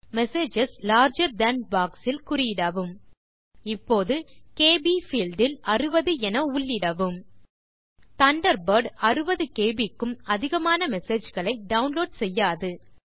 messages larger than box இல் குறியிடவும் இப்போது கேபி பீல்ட் இல் 60 என உள்ளிடவும் தண்டர்பர்ட் 60கேபி க்கும் அதிகமான மெசேஜ் களை டவுன்லோட் செய்யாது